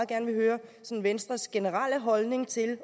gerne vil høre venstres generelle holdning til